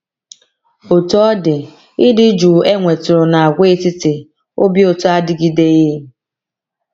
Otú ọ dị, ịdị jụụ e nwetụrụ n’Àgwàetiti Obi Ụtọ adịgideghị.